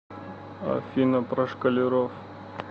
афина про школяров